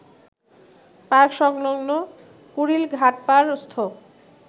park সংলগ্ন কুড়িল ঘাটপাড়স্থ